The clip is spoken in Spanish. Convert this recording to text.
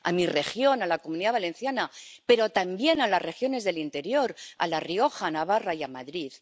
a mi región, la Comunidad Valenciana—, pero también a las regiones del interior —a La Rioja, a Navarra y a Madrid—